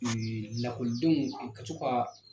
Un lakɔlidenw an ka to ka